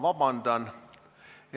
Vabandust!